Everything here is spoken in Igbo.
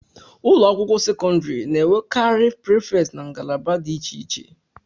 ụlọ akwụkwọ sekọndrị na-enwekarị prịfet na ngalaba dị iche iche